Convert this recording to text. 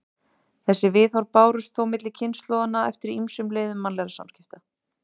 Þessi viðhorf bárust þó milli kynslóðanna eftir ýmsum leiðum mannlegra samskipta.